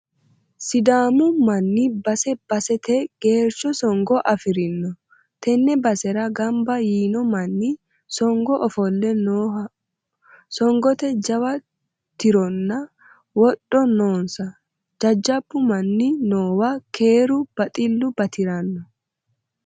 Sidaamu manni base baseteni geercho songo affirino, tene basera gamba yiino manni songo ofolle nooho, songote jawa tirona wodho noonsa jajjabbu manni noowa keeru baxilu batirano.